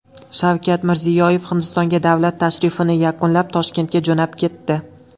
Shavkat Mirziyoyev Hindistonga davlat tashrifini yakunlab, Toshkentga jo‘nab ketdi.